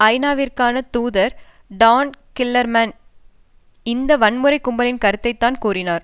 ஐநாவிற்கான தூதர் Dan Gillerman இந்த வன்முறைக் கும்பலின் கருத்தைத்தான் கூறினார்